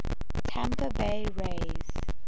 tampa bay rays